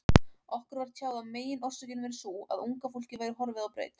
Okkur var tjáð að meginorsökin væri sú, að unga fólkið væri horfið á braut.